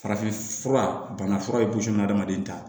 Farafinf fura bana fura ye hadamaden ta